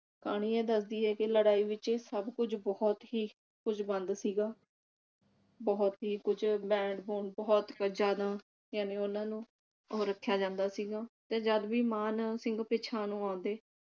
ਕਹਾਣੀ ਇਹ ਦੱਸਦੀ ਐ ਕਿ ਲੜਾਈ ਵਿਚ ਸਭ ਕੁਝ ਬਹੁਤ ਹੀ ਕੁਝ ਬੰਦ ਸੀਗਾ। ਬਹੁਤ ਹੀ ਕੁਝ ਬੈਂਡ ਬੂਡ ਬਹੁਤ ਜਿਆਦਾ ਜਾਨਿ ਉਨ੍ਹਾਂ ਨੂੰ ਉਹ ਰੱਖਿਆ ਜਾਂਦਾ ਸੀਗਾ ਤੇ ਜਦਿ ਵੀ ਮਾਨ ਸਿੰਘ ਪਿਛਾ ਨੂੰ ਆਉਂਦੇ